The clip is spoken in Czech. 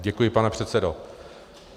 Děkuji, pane předsedo.